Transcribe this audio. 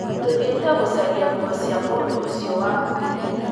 Tũthiĩte gũcaria nguo cia mũndũ ũcio wakuire